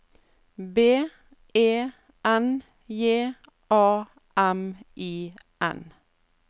B E N J A M I N